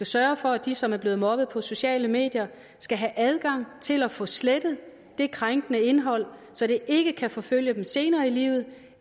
sørget for at de som er blevet mobbet på sociale medier skal have adgang til at få slettet det krænkende indhold så det ikke kan forfølge dem senere i livet